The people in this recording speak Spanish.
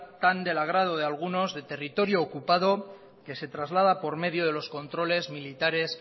tan del agrado de algunos de territorio ocupado que se traslada por medio de los controles militares